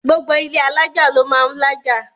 gbogbo ilé alájà ló máà ń lájà